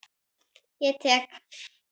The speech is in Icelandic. Ég tek